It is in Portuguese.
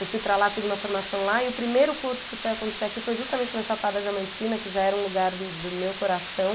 Eu fui para lá, fiz uma formação lá, e o primeiro curso que foi acontecer aqui foi justamente na Chapada Diamantina, que já era um lugar do meu coração.